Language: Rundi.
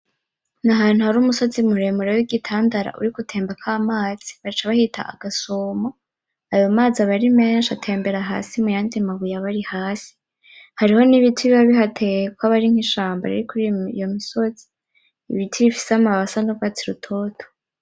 Ni ahantu hari umusozi muremure w’igitandara uriko utembako amazi, baca bahita agasomo. Ayo mazi aba ari menshi atembera hasi mu yandi mabuye aba ari hasi. Hariho n'ibiti biba bihateye kuko haba hari nk’ishamba riri kuri iyo misozi, ibiti bifise amababi asa n’ugwatsi rutoto.